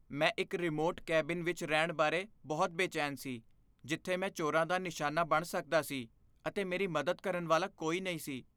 ਮੈਂ ਇੱਕ remote cabin ਵਿੱਚ ਰਹਿਣ ਬਾਰੇ ਬਹੁਤ ਬੇਚੈਨ ਸੀ ਜਿੱਥੇ ਮੈਂ ਚੋਰਾਂ ਦਾ ਨਿਸ਼ਾਨਾ ਬਣ ਸਕਦਾ ਸੀ ਅਤੇ ਮੇਰੀ ਮਦਦ ਕਰਨ ਵਾਲਾ ਕੋਈ ਨਹੀਂ ਸੀ।